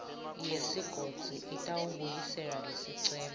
yesigodzi itawubuyisela lesicelo